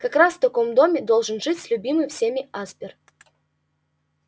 как раз в таком доме должен жить любимый всеми аспер